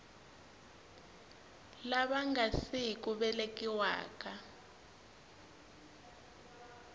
lava nga si ku velekiwaka